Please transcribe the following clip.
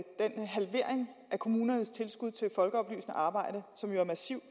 kommunernes tilskud til folkeoplysende arbejde som jo er massiv